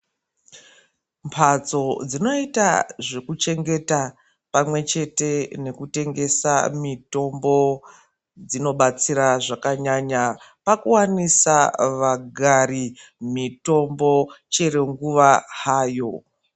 Mphatso dzinoita zvekuchengeta pamwe chete nekutengesa mitombo, dzinobatsira zvakanyanya, pakuwaniswa vagari mitombo ,chero nguva hayo.